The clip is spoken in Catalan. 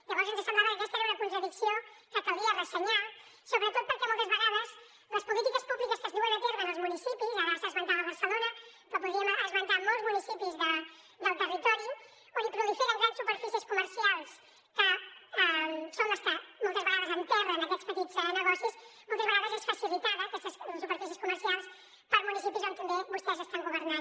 llavors ens semblava que aquesta era una contradicció que calia ressenyar sobretot perquè moltes vegades les polítiques públiques que es duen a terme en els municipis ara s’esmentava barcelona però podríem esmentar molts municipis del territori on proliferen grans superfícies comercials que són les que moltes vegades enterren aquests petits negocis moltes vegades són facilitades aquestes superfícies comercials per municipis on també vostès estan governant